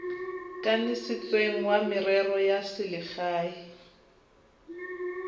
kanisitsweng wa merero ya selegae